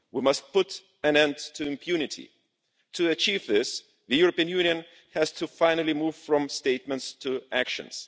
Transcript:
We must put an end to impunity. To achieve this, the European Union has to finally move from statements to actions.